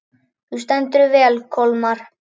Þú stendur þig vel, Kolmar!